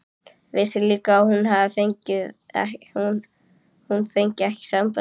Vissi líka að hún fengi ekki samband við hana.